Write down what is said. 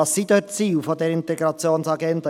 Welches sind die Ziele dieser Integrationsagenda?